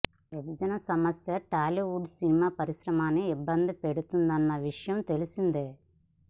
విభజన సమస్య టాలీవుడ్ సినిమా పరిశ్రమని ఇబ్బంది పెడుతున్న విషయం తెలిసిందే